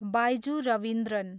Byju Ravindran